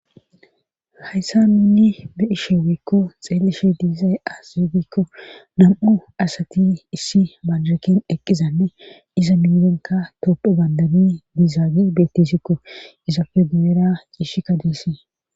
hayssa nunni be ishe weekko xeelishe diizay as zegikko nam7u asati issi baljeken eqqizanne iza mingenka toppo bandabi dizaage bettissikko izafe gu7era ciishi ka diisii